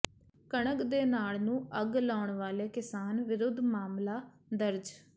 ਕਣਕ ਦੇ ਨਾੜ ਨੂੰ ਅੱਗ ਲਾਉਣ ਵਾਲੇ ਕਿਸਾਨ ਵਿਰੁੱਧ ਮਾਮਲਾ ਦਰਜ